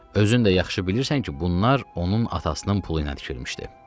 Özün də yaxşı bilirsən ki, bunlar onun atasının pulu ilə tikilmişdi.